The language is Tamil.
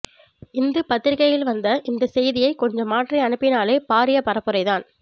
இந்து பத்திரிகையில் வந்த இந்த செய்தியை கொஞ்சம் மாற்றி அனுப்பினாலே பாரிய பரப்புரை தான்